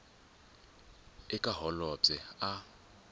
eka holobye u fanele a